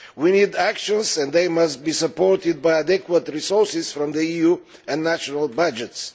We need actions and they must be supported by adequate resources from the EU and national budgets.